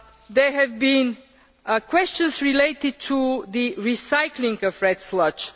job. There have been questions relating to the recycling of red